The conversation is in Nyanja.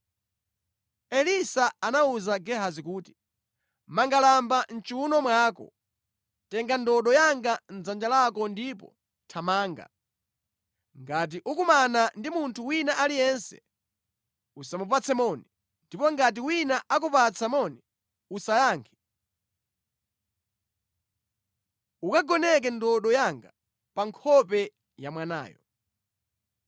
Elisa anawuza Gehazi kuti, “Manga lamba mʼchiwuno mwako, tenga ndodo yanga mʼdzanja lako ndipo thamanga. Ngati ukumana ndi munthu wina aliyense, usamupatse moni, ndipo ngati wina akupatsa moni, usayankhe. Ukagoneke ndodo yanga pa nkhope ya mwanayo.”